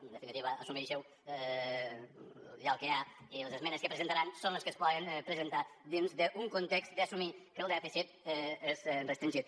en definitiva assumeixi ho hi ha el que hi ha i les esmenes que presentaran són les que es poden presentar dins d’un context d’assumir que el dèficit és restringit